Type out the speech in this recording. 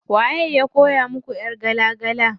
Waye ya koya muku ƴar gala gala?